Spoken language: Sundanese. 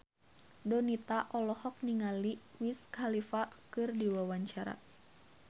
Donita olohok ningali Wiz Khalifa keur diwawancara